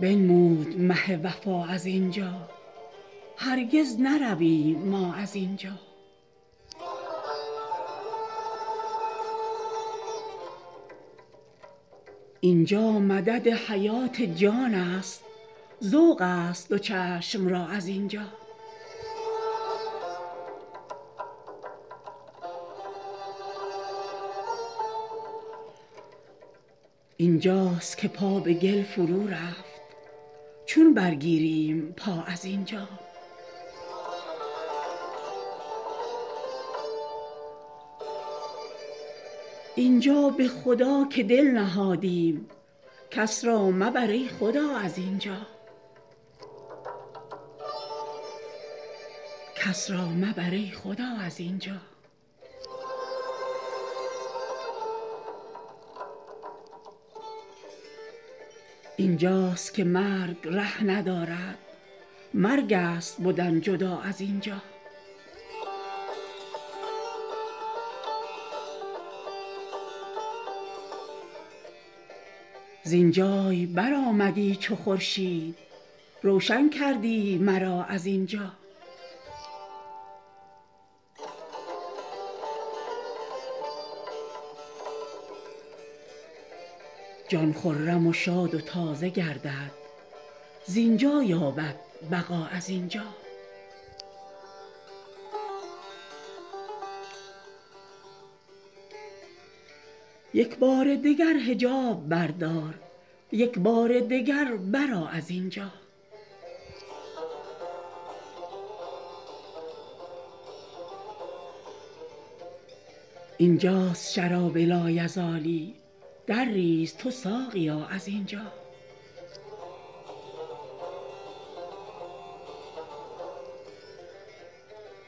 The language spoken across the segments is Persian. بنمود مه وفا از این جا هرگز نرویم ما از این جا این جا مدد حیات جانست ذوقست دو چشم را از این جا این جاست که پا به گل فرورفت چون برگیریم پا از این جا این جا به خدا که دل نهادیم کس را مبر ای خدا از این جا این جاست که مرگ ره ندارد مرگست بدن جدا از این جا زین جای برآمدی چو خورشید روشن کردی مرا از این جا جان خرم و شاد و تازه گردد زین جا یابد بقا از این جا یک بار دگر حجاب بردار یک بار دگر برآ از این جا این جاست شراب لایزالی درریز تو ساقیا از این جا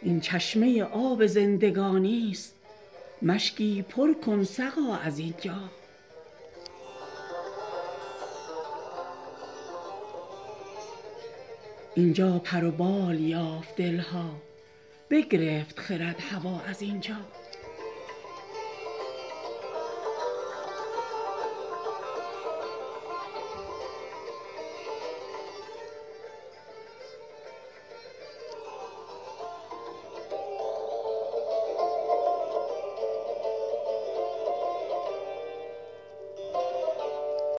این چشمه آب زندگانیست مشکی پر کن سقا از این جا این جا پر و بال یافت دل ها بگرفت خرد هوا از این جا